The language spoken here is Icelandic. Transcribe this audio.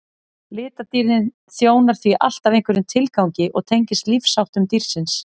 litadýrðin þjónar því alltaf einhverjum tilgangi og tengist lífsháttum dýrsins